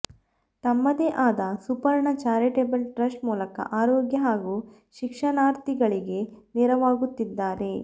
ತಮ್ಮದೇ ಆದ Suparna Charitable Trust ಮೂಲಕ ಆರೋಗ್ಯ ಹಾಗೂ ಶಿಕ್ಷಣಾರ್ಥಿಗಳಿಗೆ ನೆರವಾಗುತ್ತಿದ್ದಾರೆ